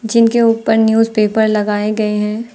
जिनके ऊपर न्यूजपेपर लगाए गए हैं।